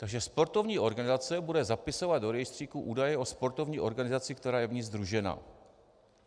- Takže sportovní organizace bude zapisovat do rejstříku údaje o sportovní organizaci, která je v ní sdružena.